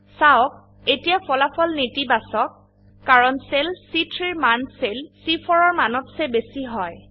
চাওক এতিয়া ফলাফল নেতি বাচক নেগেটিভ কাৰণ সেল C3ৰ মান সেল চি4 এৰ মানত চে বেশী হয়